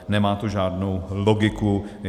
Nemá to žádnou logiku.